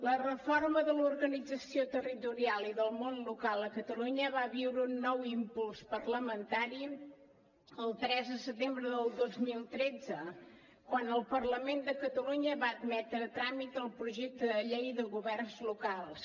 la reforma de l’organització territorial i del món local a catalunya va viure un nou impuls parlamentari el tres de setembre del dos mil tretze quan el parlament de catalunya va admetre a tràmit el projecte de llei de governs locals